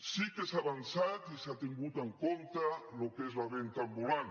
sí que s’ha avançat i s’ha tingut en compte el que és la venda ambulant